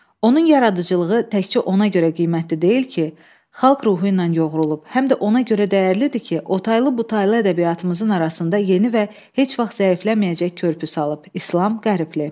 Onun yaradıcılığı təkcə ona görə qiymətli deyil ki, xalq ruhu ilə yoğrulub, həm də ona görə dəyərlidir ki, otaylı butaylı ədəbiyyatımızın arasında yeni və heç vaxt zəifləməyəcək körpü salıb, İslam Qərbli.